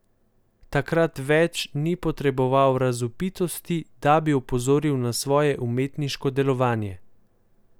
Takrat več ni potreboval razvpitosti, da bi opozoril na svoje umetniško delovanje.